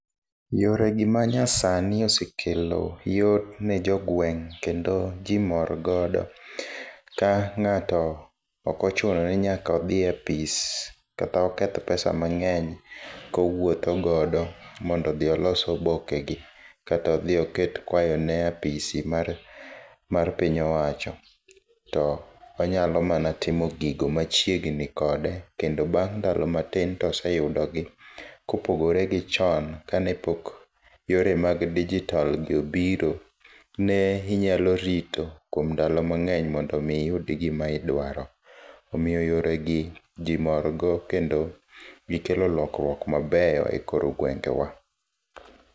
Yore gi manyasani osekelo yot ne jo gweng' kendo ji mor godo ka ng'ato ok ochuno ni nyaka odhi e opis kata oketh pesa mang'eny kowuothogodo mondo odhi olos oboke gi. Kata odhi oket kwayone aposi mar piny owacho. To onyalo mana timo gigo machiegni kode kendo bang' ndalo matin to oseyudo gi. Kopogore gi chon kane pok yore mag digital gi obiro ne inyalo rito kuom ndalo mang'eny mondo iyud gimidwaro. Omiyo yore gi ji mor go kendo gikelo lokruok mabeyo e kor gwenge wa.